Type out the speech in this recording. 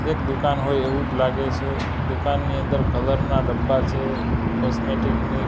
એક દુકાન હોય એવુજ લાગે છે દુકાનની અંદર કલર ના ડબ્બા છે કોસ્મેટિક ની--